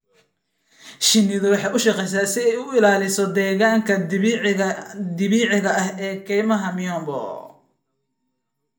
Shinnidu waxay u shaqeysaa si ay u ilaaliso deegaanka dabiiciga ah ee kaymaha miombo.